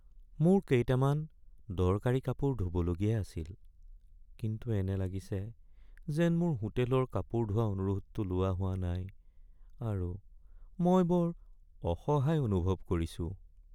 মোৰ কেইটামান দৰকাৰী কাপোৰ ধুবলগীয়া আছিল, কিন্তু এনে লাগিছে যেন মোৰ হোটেলৰ কাপোৰ ধোৱা অনুৰোধটো লোৱা হোৱা নাই আৰু মই বৰ অসহায় অনুভৱ কৰিছোঁ।